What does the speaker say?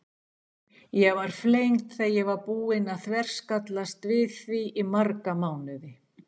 Ég var flengd þegar ég var búin að þverskallast við því í marga mánuði.